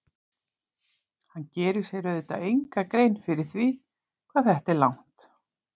Hann gerir sér auðvitað enga grein fyrir því hvað þetta er langt.